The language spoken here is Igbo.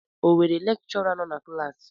O nwere lekchọra nọ na klassi?